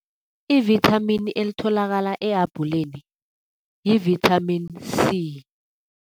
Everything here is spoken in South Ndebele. I-vithamini elitholakala ehabhuleni yi-vitamin C.